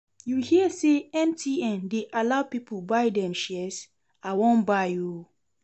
You hear say MTN dey allow people buy dem shares? I wan buy oo